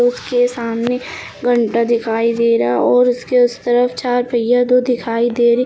उसके सामने घंटा दिखाई दे रहा है और उसके उस तरफ चार पहिया दो दिखाई दे रही--